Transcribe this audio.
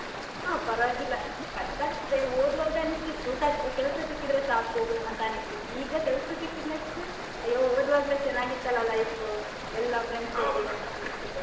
ಹಾ ಪರ್ವಾಗಿಲ್ಲ, ಕಷ್ಟ ಇದೆ ಓದುವಾಗ ಅನ್ನಿಸ್ತಿತ್ತು ಕೆಲ್ಸ ಸಿಕ್ಕಿದ್ರೆ ಸಾಕು ಅಂತ ಅನ್ನಿಸ್ತಿತ್ತು ಈಗ ಕೆಲ್ಸ ಸಿಕ್ಕಿದ್ಮೇಲೆ ಅಯ್ಯೋ ಓದುವಾಗ್ಲೇ ಚೆನ್ನಾಗಿತ್ತಲ್ಲ life ಎಲ್ಲ friends ಜೊತೆ .